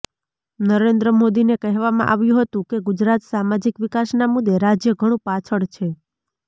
નરેન્દ્ર મોદીને કહેવામાં આવ્યું હતું કે ગુજરાત સામાજિક વિકાસના મુદ્દે રાજ્ય ઘણુ પાછળ છે